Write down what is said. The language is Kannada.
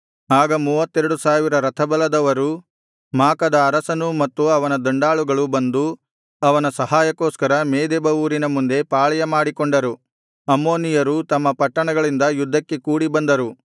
ಆಗ ಮೂವತ್ತೆರಡು ಸಾವಿರ ರಥಬಲದವರೂ ಮಾಕದ ಅರಸನೂ ಮತ್ತು ಅವನ ದಂಡಾಳುಗಳು ಬಂದು ಅವರ ಸಹಾಯಕ್ಕೋಸ್ಕರ ಮೇದೆಬ ಊರಿನ ಮುಂದೆ ಪಾಳೆಯ ಮಾಡಿಕೊಂಡರು ಅಮ್ಮೋನಿಯರೂ ತಮ್ಮ ಪಟ್ಟಣಗಳಿಂದ ಯುದ್ಧಕ್ಕೆ ಕೂಡಿಬಂದರು